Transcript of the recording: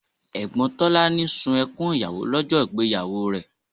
Ẹ̀gbọ́n Tolani sun ẹkún ìyàwó lọ́jọ́ ìgbéyàwó rẹ̀